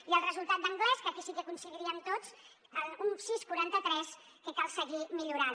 i el resultat d’anglès que aquí sí que hi coincidiríem tots un sis coma quaranta tres que cal seguir millorant